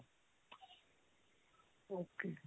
okay